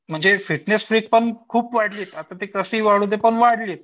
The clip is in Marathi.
म्हणजे फिटनेस पण खूप वाढवीत आता ते कसंही वाढूदेत पण वाढलीत